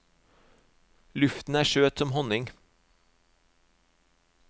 Luften er søt som honning.